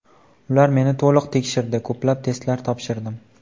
Ular meni to‘liq tekshirdi, ko‘plab testlar topshirdim.